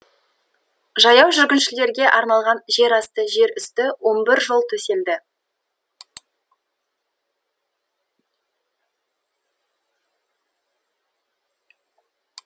жаяу жүргіншілерге арналған жерасты жер үсті он бір жол төселді